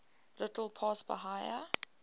little past bahia